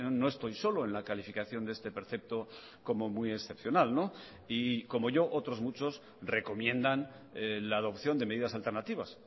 no estoy solo en la calificación de este precepto como muy excepcional y como yo otros muchos recomiendan la adopción de medidas alternativas